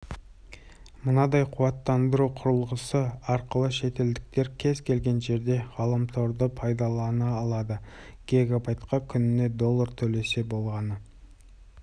мынадай қуаттандыру құрылғысы арқылы шетелдіктер кез келген жерде ғаламторды пайдалана алады гигабайтқа күніне доллар төлесе болғаны